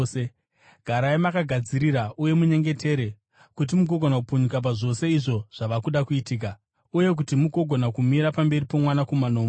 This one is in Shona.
Garai makagadzirira, uye munyengetere kuti mugogona kupunyuka pazvose izvo zvava kuda kuitika, uye kuti mugogona kumira pamberi poMwanakomana woMunhu.”